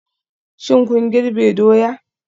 Shin kun girbe doya?